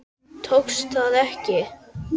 Tókst það ekki.